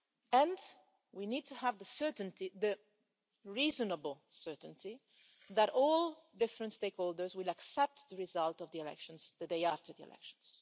And we need to have the reasonable certainty that all different stakeholders will accept the result of the elections the day after the elections.